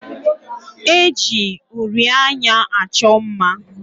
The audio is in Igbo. E ji uri anya achọ mma.